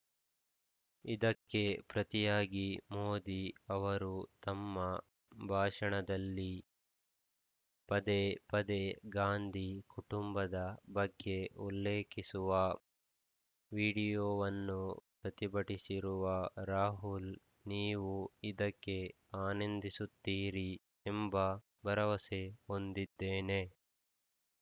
ಇದಕ್ಕೆ ಪ್ರತಿಯಾಗಿ ಮೋದಿ ಅವರು ತಮ್ಮ ಭಾಷಣದಲ್ಲಿ ಪದೇ ಪದೇ ಗಾಂಧಿ ಕುಟುಂಬದ ಬಗ್ಗೆ ಉಲ್ಲೇಖಿಸುವ ವಿಡಿಯೋವನ್ನು ಪ್ರತಿಭಟಿಸಿರುವ ರಾಹುಲ್‌ ನೀವು ಇದಕ್ಕೆ ಆನಂದಿಸುತ್ತಿರಿ ಎಂಬ ಭರವಸೆ ಹೊಂದಿದ್ದೇನೆ